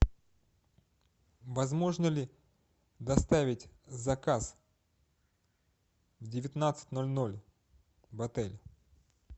возможно ли доставить заказ в девятнадцать ноль ноль в отель